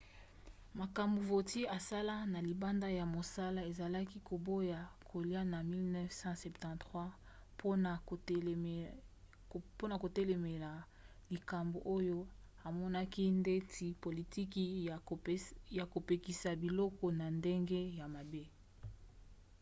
makambo vautier asala na libanda ya mosala ezali koboya kolia na 1973 mpona kotelemela likambo oyo amonaki neti politiki ya kopekisa biloko na ndenge ya mabe